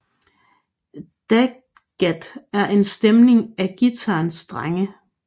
DADGAD er en stemning af guitarens strenge